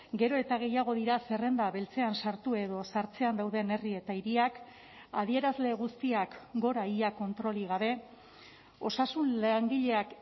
gero eta gehiago dira zerrenda beltzean sartu edo sartzean dauden herri eta hiriak adierazle guztiak gora ia kontrolik gabe osasun langileak